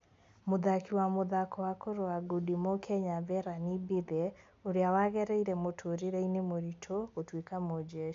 Mũthaki wa mũthako wa kũrũa ngudi mu-Kenya Verani Mbithe ũrĩa wagereire mũtũrĩre-inĩ mũritũ gũtuĩka mũjeshi.